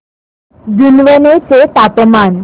जुनवणे चे तापमान